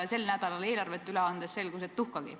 Sel nädalal, kui eelarve üle anti, selgus, et tuhkagi.